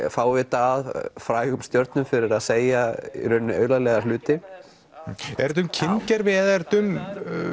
fávita að frægum stjörnum fyrir að segja aulalega hluti er þetta um kyngervi eða er þetta um